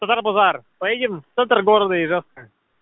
зарбовар поедем в центр города ижевская